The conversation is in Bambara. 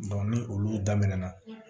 ni olu daminɛna